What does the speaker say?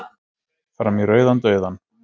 Fram í rauðan dauðann.